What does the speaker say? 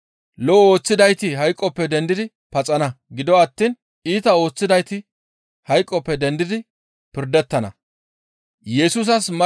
Lo7o ooththidayti hayqoppe dendidi paxana. Gido attiin iita ooththidayti hayqoppe dendidi pirdettana.